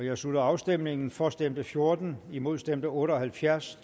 jeg slutter afstemningen for stemte fjorten imod stemte otte og halvfjerds